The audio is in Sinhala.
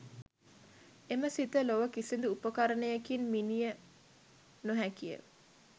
එම සිත ලොව කිසිදු උපකරණයකින් මිණිය නො හැකි ය